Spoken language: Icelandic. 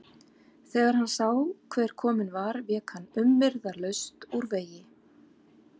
Þegar hann sá hver kominn var vék hann umyrðalaust úr vegi.